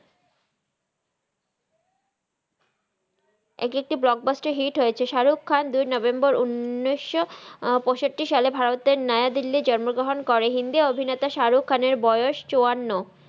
এক একটি ব্লগ বাস্তের হিত হয়ে ছে সারুখ খান দুই নভেম্বর উনিস পাইসাত্তি সালের নায়াক দিল্লি জন্ম গ্রাহান করেন হিন্দি আভিনেতা সারুখ খানের বাসায় চুয়ান্ন